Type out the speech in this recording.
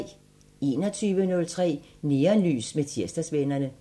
21:03: Neonlys med Tirsdagsvennerne